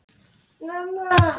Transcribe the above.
Þín Þórunn Inga.